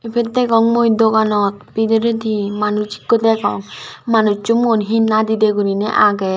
ibot degong mui doganot bidiredi manuj ikko degong manujjo muan he nadedi guriney agey.